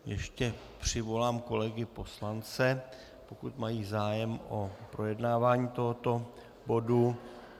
Ještě přivolám kolegy poslance, pokud mají zájem o projednávání tohoto bodu.